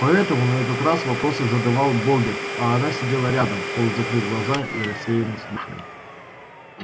поэтому на этот раз вопросы задавал богерт а она сидела рядом полузакрыв глаза и рассеянно слушая